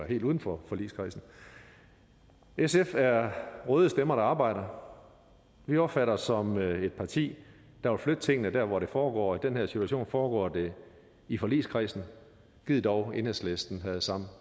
helt uden for forligskredsen sf er røde stemmer der arbejder vi opfatter os som et et parti der vil flytte tingene dér hvor det foregår og i den her situation foregår det i forligskredsen gid dog enhedslisten havde samme